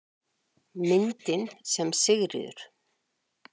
Myndin sem Sigríður